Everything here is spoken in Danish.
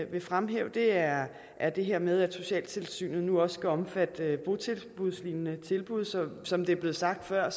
vil fremhæve er er det her med at socialtilsynene nu også skal omfatte botilbudslignende tilbud som det er blevet sagt før er